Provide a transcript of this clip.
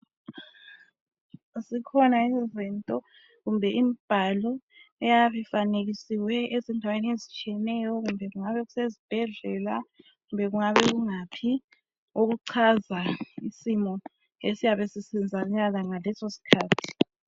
Zikhona izinto kumbe imbhalo eyabe ifanekisiweyo ezindaweni ezitshiyeneyo kumbe kungabe kusezibhedlala kumbe kungabe kungaphi ,okuchaza isimo esiyabe senzakala ngaleso sikhathi.